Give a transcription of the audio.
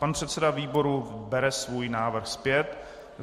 Pan předseda výboru bere svůj návrh zpět.